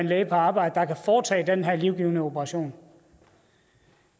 læge på arbejde der kan foretage den her livgivende operation